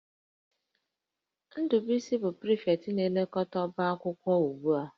Ndubuisi bụ prịfektị na-elekọta ọba akwụkwọ ugbu a